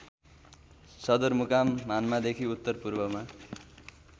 सदरमुकाम मान्मादेखि उत्तरपूर्वमा